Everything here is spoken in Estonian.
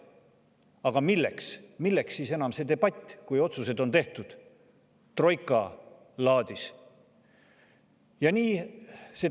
Aga milleks siis enam debatt, kui otsused on tehtud troika laadis?